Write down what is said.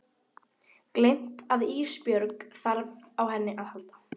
Gleymt að Ísbjörg þarf á henni að halda.